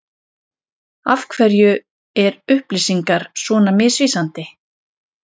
Af hverju er upplýsingar svona misvísandi?